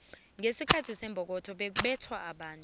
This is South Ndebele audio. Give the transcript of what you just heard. ngesikhathi sembokotho begubethwa abantu